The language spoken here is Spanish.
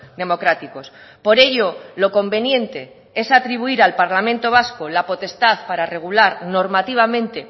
democráticos por ello lo conveniente es atribuir al parlamento vasco la potestad para regular normativamente